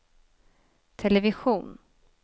television